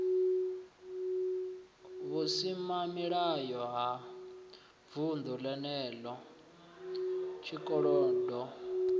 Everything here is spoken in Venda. vhusimamilayo ha vunḓu lenelo tshikolodo